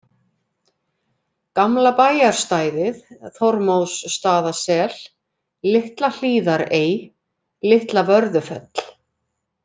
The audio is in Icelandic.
Gamla bæjarstæðið, Þormóðsstaðasel, Litla-Hlíðarey, Litla-Vörðufell